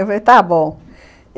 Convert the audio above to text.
Eu falei, está bom.